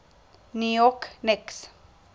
new york knicks